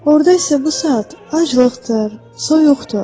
Orda isə bu saat aclıqdır, soyuqdur.